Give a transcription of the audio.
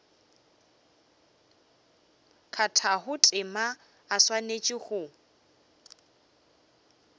kgathago tema o swanetše go